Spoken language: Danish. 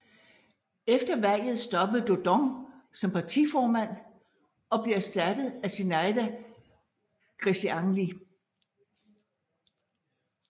Efter valget stoppede Dodon som partiformand og blev erstattet af Zinaida Greceanîi